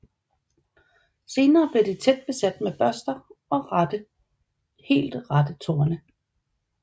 Senere bliver de tæt besat med børster og helt rette torne